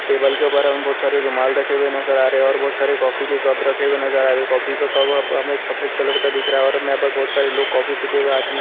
table के ऊपर हमें बहुत सारे रुमाल रखे हुए नजर आ रहे हैं और बहुत सारे कॉफी के कप रखे हुए नजर आ रहे हैं कॉफी का कप यहाँ पर हमें सफेद कलर का दिख रहा है और यहाँ पर बहुत सारे लोग कॉफी पीते हुए